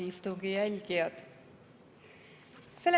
Head istungi jälgijad!